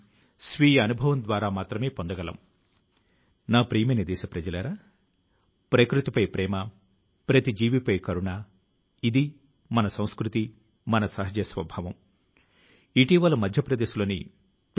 మహాభారతం ప్రాముఖ్యాన్ని ఇతర దేశాల ప్రజలకు పరిచయం చేయడానికి ఈ సంస్థ ఆన్లైన్ కోర్సు ను ప్రారంభించింది